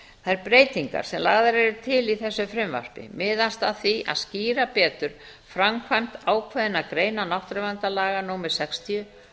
þær breytingar sem lagðar eru til í þessu frumvarpi miðast að því að skýra betur framkvæmd ákveðinna greina náttúruverndarlaga númer sextíu